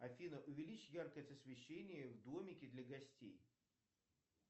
афина увеличь яркость освещения в домике для гостей